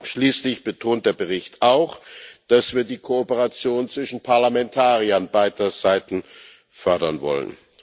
Schließlich betont der Bericht auch, dass wir die Kooperation zwischen Parlamentariern beider Seiten fördern wollen.